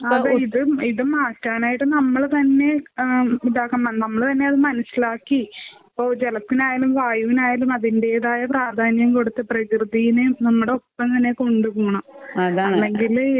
ഇപ്പൊ ആഹ് ഇതും ഇതും മാറ്റാനായിട്ട് നമ്മള് തന്നെ ആഹ് ഇതാക്കണം. നമ്മള് തന്നെ അത് മനസ്സിലാക്കി ഇപ്പൊ ജലത്തിനായാലും വായുവിനായാലും അതിന്റെതായ പ്രാധാന്യം കൊടുത്ത് പ്രകൃതിനെ നമ്മുടെ ഒപ്പം തന്നെ കൊണ്ട് പോണം. അല്ലെങ്കില്